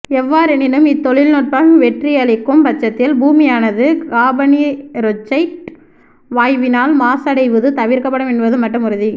எவ்வாறெனினும் இத் தொழில்நுட்பம் வெற்றியளிக்கும் பட்சத்தில் பூமியானது காபனீரொட்சைட் வாயுவினால் மாசடைவது தவிர்க்கப்படும் என்பது மட்டும் உறுதி